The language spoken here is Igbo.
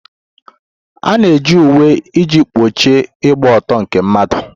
A na-eji uwe iji kpuchie ịgba ọtọ nke mmadụ.